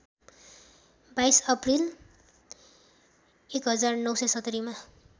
२२ April १९७०मा